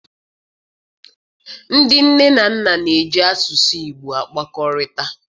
Ndị nne na nna na-eji asụsụ Igbo akpakọrịta.